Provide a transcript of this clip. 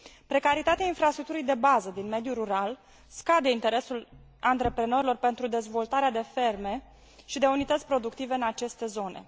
Precaritatea infrastructurii de bază din mediul rural scade interesul antreprenorilor pentru dezvoltarea de ferme și de unități productive în aceste zone.